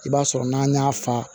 I b'a sɔrɔ n'an y'a fa